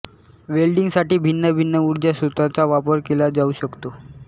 वेल्डिंगसाठी भिन्न भिन्न उर्जा स्त्रोतांचा वापर केला जाऊ शकतो